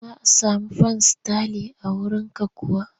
Za a sami fan sitalin a wurinka kuwa?